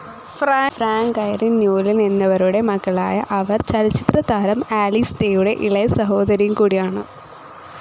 Frank, Irene Newlin എന്നിവരുടെ മകളായ അവർ ചലച്ചിത്രതാരം ആലിസ് ഡേയുടെ ഇളയ സഹോദരിയുംകൂടിയാണ്.